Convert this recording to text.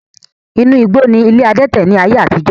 Inú igbó ni ilé adẹ́tẹ̀ ni ayé àtijọ́